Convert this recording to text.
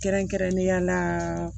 Kɛrɛnkɛrɛnnenya la